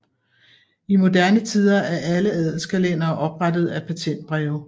I moderne tider er alle adelskalendere oprettet af patentbreve